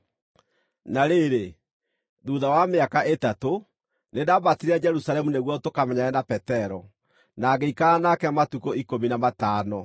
Na rĩrĩ, thuutha wa mĩaka ĩtatũ, nĩndambatire Jerusalemu nĩguo tũkamenyane na Petero, na ngĩikara nake matukũ ikũmi na matano.